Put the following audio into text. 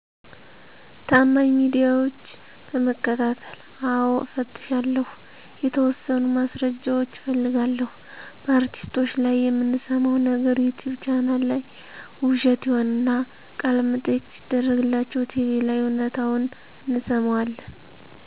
ታማኝ ሚዲያዎች በመከታተል። አዎ እፈትሻለሁ። የተወሠኑ ማስረጃዎች እፈልጋለሁ። በአርቲስቶች ላይ የምንሠማው ነገር ዩቲቭ ቻናል ላይ ውሸት ይሆንና፤ ቃለመጠየቅ ሲደረግላቸው ቲቪ ላይ እውነታውን እንሠማዋለን።